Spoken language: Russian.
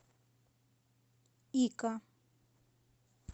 ика